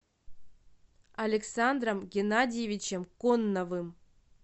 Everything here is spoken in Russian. александром геннадьевичем конновым